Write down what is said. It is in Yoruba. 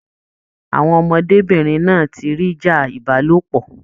Àwọn ọmọdébinrin náa tí rí ìjà ìbálòpọ̀.